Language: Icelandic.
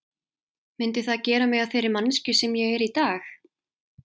Myndi það gera mig að þeirri manneskju sem ég er í dag?